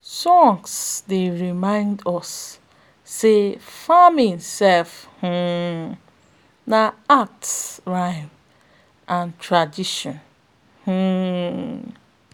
songs dey remind us say farming sef sef um na art rhythm and tradition um